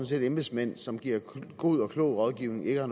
set at embedsmænd som giver god og klog rådgivning ikke har